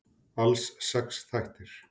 Alls sex þættir.